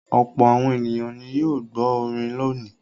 Ọ̀pọ̀ àwọn ènìyàn ni yóò gbọ́ orin lónìí.